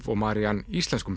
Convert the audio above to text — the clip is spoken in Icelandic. og Marianne íslenskum